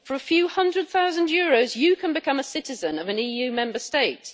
For a few hundred thousand euros, you can become a citizen of an EU Member State.